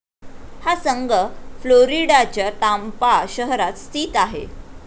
हा संघ फ्लोरिडाच्या टांपा शहरात स्थित आहे.